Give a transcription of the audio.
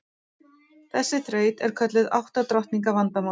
Þessi þraut er kölluð átta drottninga vandamálið.